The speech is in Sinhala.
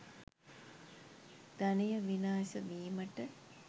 ධනය විනාශ වීමට